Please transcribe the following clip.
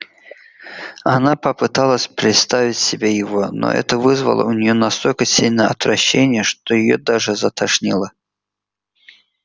она попыталась представить себе его но это вызвало у нее настолько сильное отвращение что её даже затошнило